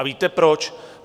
A víte proč?